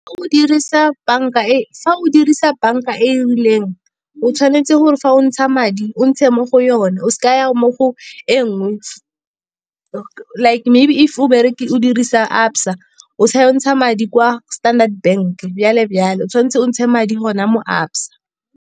Fa o dirisa bank-a e e rileng o tshwanetse gore fa o ntsha madi o ntshe mo go yone. O seka wa ya mo go e nngwe, like maybe if o dirisa Absa o sa ya go ntsha madi kwa Standard Bank jalo-jalo. O tshwanetse o ntshe madi gona mo Absa.